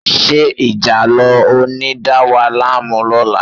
Ṣé ìjàlọ ò ní dà wá láàmú lọ́la?